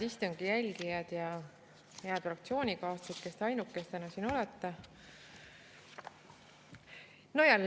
Head istungi jälgijad ja head fraktsioonikaaslased, kes te ainukestena siin olete!